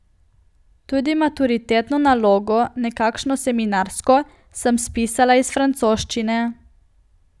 Tudi maturitetno nalogo, nekakšno seminarsko, sem spisala iz francoščine.